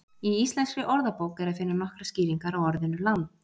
Í Íslenskri orðabók er að finna nokkrar skýringar á orðinu land.